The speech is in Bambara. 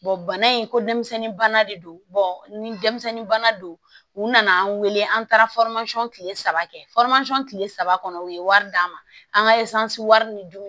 bana in ko denmisɛnnin de don ni denmisɛnnin don u nana an weele an taara kile saba kɛ kile saba kɔnɔ u ye wari d'an ma an ka wari ni dumuni